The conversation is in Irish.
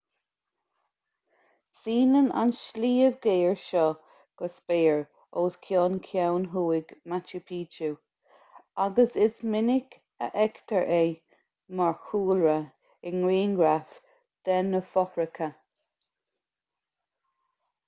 síneann an sliabh géar seo go spéir os cionn ceann thuaidh machu picchu agus is minic a fheictear é mar chúlra i ngrianghraif de na fothracha